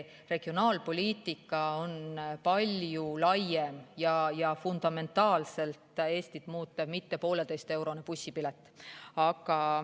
Regionaalpoliitika on palju laiem ja fundamentaalselt Eestit muutev, mitte poolteiseeurone bussipilet.